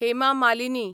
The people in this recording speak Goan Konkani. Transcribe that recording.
हेमा मालिनी